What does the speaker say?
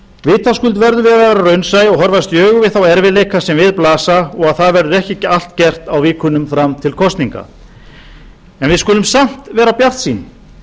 vitaskuld verðum við að vera raunsæ og horfast í augu við þá erfiðleika sem við blasa og að það verður ekki allt gert á vikunum fram til kosninga við skulum samt vera bjartsýn